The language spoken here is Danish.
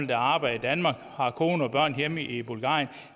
der arbejder i danmark og har kone og børn hjemme i bulgarien